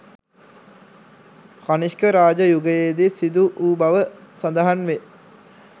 කනිෂ්ක රාජ යුගයේදී සිදු වූ බව සඳහන් වේ